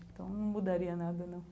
Então, não mudaria nada, não.